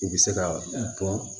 U bɛ se ka bɔ